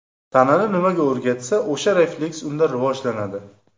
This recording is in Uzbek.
Tanani nimaga o‘rgatsa, o‘sha refleks unda rivojlanadi.